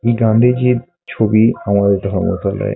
এই গান্ধিজির ছবি আমাদের ধর্ম তলায় --